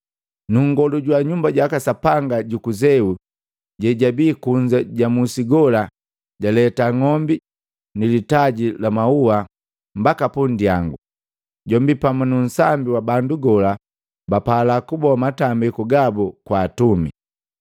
Nu nngolu jwa Nyumba jaka Sapanga juku Zeu jejabii kunza ja musi gola, jaleta ng'ombi nilitaji la mauha mbaki pundyangu, jombi pamu nu nsambi wa bandu gola bapala kuboa matambiku gabu kwaka atumi.